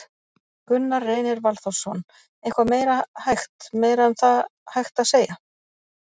Gunnar Reynir Valþórsson: Eitthvað meira hægt, meira um það hægt að segja?